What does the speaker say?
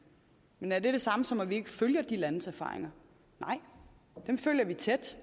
men er det det samme som at vi ikke følger de landes erfaringer nej dem følger vi tæt